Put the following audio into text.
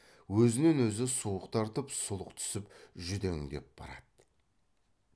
өзінен өзі суық тартып сұлқ түсіп жүдеңдеп барады